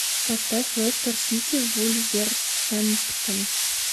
поставь лестер сити вулверхэмптон